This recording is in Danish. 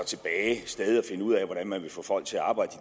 stadig at finde ud af hvordan man vil få folk til at arbejde